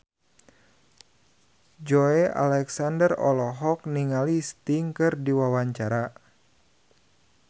Joey Alexander olohok ningali Sting keur diwawancara